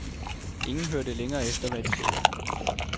Ingen hørte længere efter, hvad de sagde.